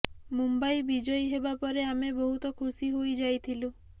ମୁମ୍ବାଇ ବିଜୟୀ ହେବା ପରେ ଆମେ ବହୁତ ଖୁସି ହୋଇ ଯାଇଥିଲୁ